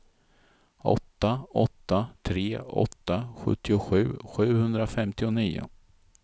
åtta åtta tre åtta sjuttiosju sjuhundrafemtionio